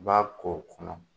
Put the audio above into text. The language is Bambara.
B'a k'o kɔnɔ